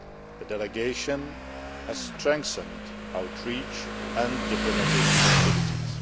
The delegation has strengthened outreach and diplomatic activities.